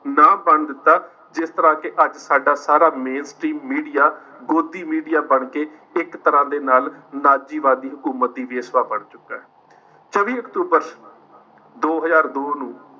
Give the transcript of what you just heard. ਨਾ ਬਣਨ ਦਿੱਤਾ, ਜਿਸ ਤਰ੍ਹਾਂ ਕਿ ਅੱਜ ਸਾਡਾ ਸਾਰਾ ਮੀਡੀਆ ਗੋਦੀ ਮੀਡੀਆ ਬਣਕੇ ਇੱਕ ਤਰ੍ਹਾਂ ਦੇ ਨਾਲ ਨਾਜੀਵਾਦੀ ਹਕੂਮਤੀ ਬੇਸਵਾ ਬਣ ਚੁੱਕਾ ਹੈ, ਚੌਵੀ ਅਕਤੂਬਰ ਦੋ ਹਜ਼ਾਰ ਦੋ ਨੂੰ